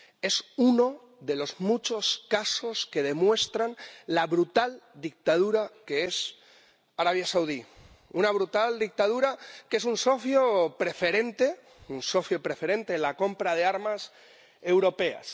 Es uno de los muchos casos que demuestran la brutal dictadura que es Arabia Saudí una brutal dictadura que es un socio preferente en la compra de armas europeas.